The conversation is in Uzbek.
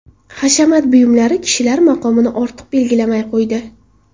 Hashamat buyumlari kishilar maqomini ortiq belgilamay qo‘ydi.